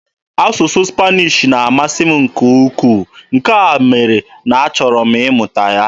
Asụsụ Spanish na-amasị m nke ukwuu, nke mere na a chọrọ m ịmụta ya.